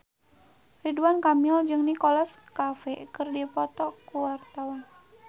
Ridwan Kamil jeung Nicholas Cafe keur dipoto ku wartawan